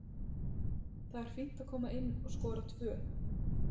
Það er fínt að koma inn og skora tvö.